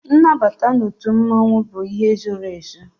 Nnabata n'otu mmanwu bụ ihe zoro ezo